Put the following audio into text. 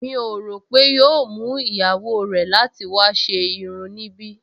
Mi ò rò pé yóò mú ìyàwó rẹ̀ láti wá ṣe irun níbí